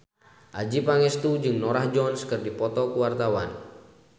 Adjie Pangestu jeung Norah Jones keur dipoto ku wartawan